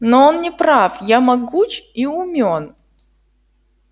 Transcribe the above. но он не прав я могуч и умён